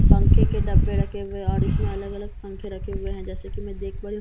पंखे के डब्बे रखे हुए और इसमें अलग अलग पंखे रखे हुए हैं जैसे कि मैं देख पा रही हूं।